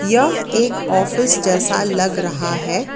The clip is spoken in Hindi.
यह एक ऑफिस जैसा लग रहा है।